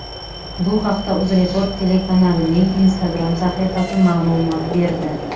Bu haqda UzReport telekanalining Instagram sahifasi ma’lumot berdi.